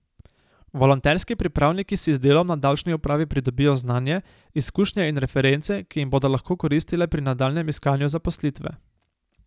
Volonterski pripravniki si z delom na davčni upravi pridobijo znanje, izkušnje in reference, ki jim bodo lahko koristile pri nadaljnjem iskanju zaposlitve.